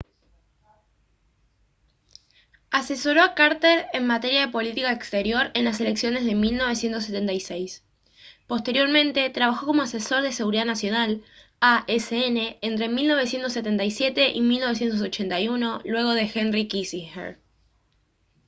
asesoró a carter en materia de política exterior en las elecciones de 1976. posteriormente trabajó como asesor de seguridad nacional asn entre 1977 y 1981 luego de henry kissinger